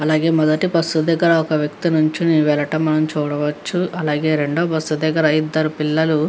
అలాగే మొదటి బస్ దగ్గర ఒక వ్యక్తి నించుని వెళ్ళటం మనం చూడవచ్చు. అలాగే రెండో బస్ దగ్గర ఇద్దరు పిల్లలు--